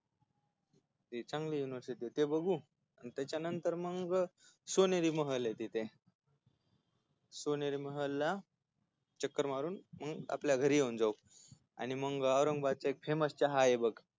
ती चांगली युनिवर्सिटी ती बघू त्याच्यानंतर मग सोनेरी महलय तिथे सोनेरी महलला चक्कर मारून मग आपल्या घरी येऊन जाऊ आणि मग औरंबादचा एक famous चहाय बघ